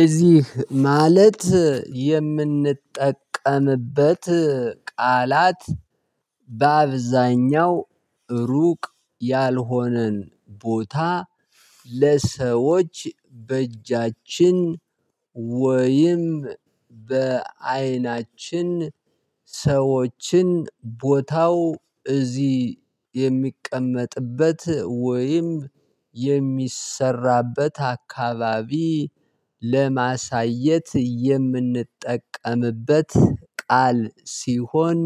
እዚህ ማለት የምንጠቀምበት ቃላት በአብዛኛው ሩቅ ያልሆነን ቦታ ለሰዎች በእጃችን ወይም በአይናችን ሰዎችን ቦታው እዚህ የሚቀመጥበት ወይም የሚሰራበት አካባቢ ለማሳየት የምንጠቀምበት ቃል ሲሆን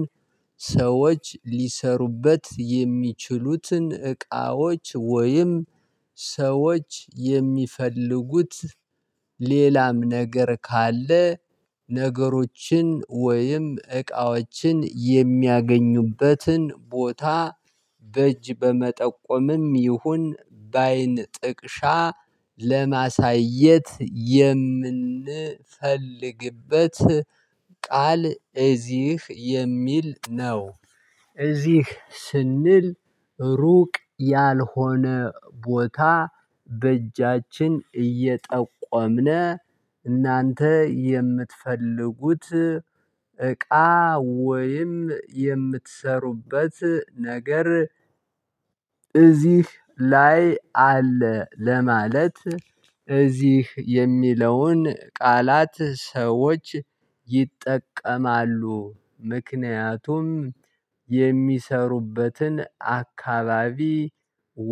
ሰዎች ሊሰሩበት የሚችሉትን እቃዎች ወይም ሰዎች የሚፈልጉት ሌላም ነገር ካለ ነገሮችን ወይም እቃዎችን የሚያገኙበትን ቦታ በእጅ በመጠቆምም ይሁን በአይን ጥቅሻ ለማሳየት የምንፈልግበት ቃል እዚህ የሚል ነው። እዚህ ስንል ሩቅ ያልሆነ ቦታ በእጃችን እየጠቆምነ እናንተ የምትፈልጉት እቃ ወይም የምትሰሩበት ነገር። እዚህ ላይ አለ ለማለት እዚህ የሚለውን ቃላት ሰዎች ይጠቀማሉ። ምክንያቱም የሚሰሩበትን አካባቢ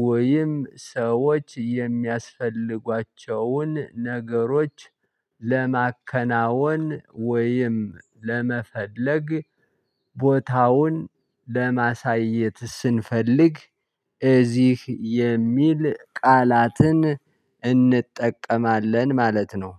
ወይም ሰዎች የሚያስፈልጓቸውን ነገሮች ለማከናወን ወይም ለመፈለግ ቦታውን ለማሳየት ስንፈልግ እዚህ የሚል ቃላትን እንጠቀማለን። ማለት ነው